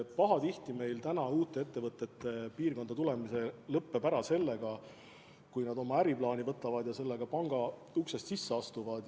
Pahatihti meil uute ettevõtete piirkonda tulemise katse lõppeb ära sellega, kui nad oma äriplaani võtavad ja sellega panga uksest sisse astuvad.